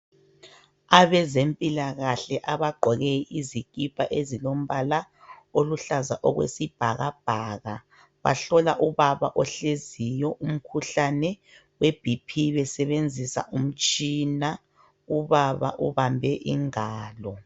Abezempilakahle abagqoke izikipa ezilombala oluhlaza okwesibhakabhaka bahlola ubaba ohleziyo umkhuhlane we BP besebenzisa umtshina .Ubaba ubambe ingalo